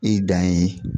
I dan ye